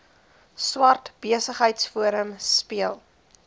swart besigheidsforum speel